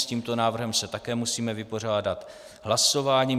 S tímto návrhem se také musíme vypořádat hlasováním.